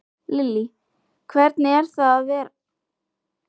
Lillý: Hvernig er það vera í kosningabaráttu fyrir nýjan flokk?